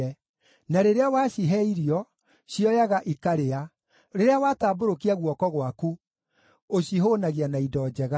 Na rĩrĩa wacihe irio, cioyaga ikarĩa; rĩrĩa watambũrũkia guoko gwaku, ũcihũũnagia na indo njega.